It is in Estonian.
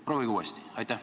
Proovige uuesti!